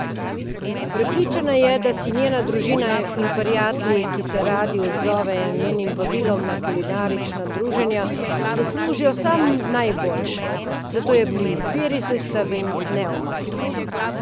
Prepričana je, da si njena družina in prijatelji, ki se radi odzovejo njenim vabilom na kulinarična druženja, zaslužijo samo najboljše, zato je pri izbiri sestavin neomajna.